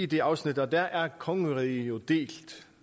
det afsnit at der er kongeriget delt